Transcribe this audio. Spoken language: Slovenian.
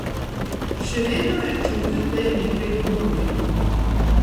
Še vedno je čutil, da ji nekaj dolguje.